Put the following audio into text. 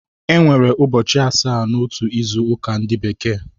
E nwere ụchọchi asaa n’otu izu ụka ndi bekee